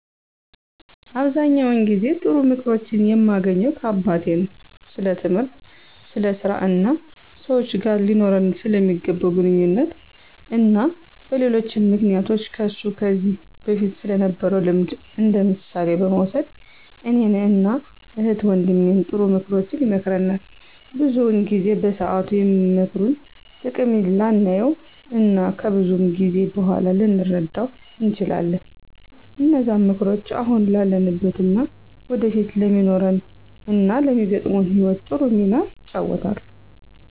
አብዛኛውን ጊዜ ጥሩ ምክሮችን የማገኘው ከአባቴ ነው። ስለትምህርት፣ ስለ ስራ እና ሰወች ጋር ሊኖረን ስለሚገባ ግንኙነት እና በሌሎችም ምክንያቶች ከሱ ከዚ በፊት ስለነበረው ልምድ እንደምሳሌ በመውሰድ እኔን እና እህት ወንድሜን ጥሩ ምክሮችን ይመክረናል። ብዙውን ጊዜ በሰአቱ የምክሩን ጥቅም ላናየው እና ከብዙ ጊዜ በኋላ ልንረደው እንችላለን። እነዛም ምክሮች አሁን ላለንበት እና ወደፊት ለሚኖረን እና ለሚገጥመን ህይወት ጥሩ ሚና ይጫወታሉ።